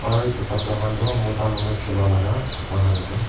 aro etu kabra kan tu muta manu chula laka kabra kan ase.